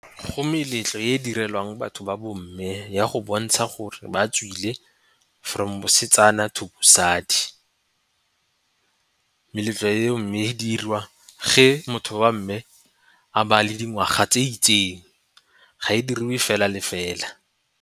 Go meletlo e direlwang batho ba bo mme ya go bontsha gore ba tswile from bosetsana to bosadi. Meletlo eo mme e dirwa ge motho wa mme a ba le dingwaga tse itseng ga e diriwe fela le fela.